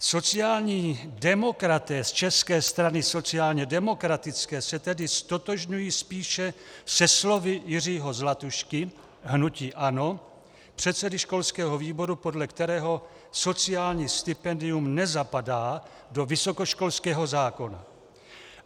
Sociální demokraté z České strany sociálně demokratické se tedy ztotožňují spíše se slovy Jiřího Zlatušky, hnutí ANO, předsedy školského výboru, podle kterého sociální stipendium nezapadá do vysokoškolského zákona.